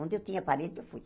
Onde eu tinha parente, eu fui.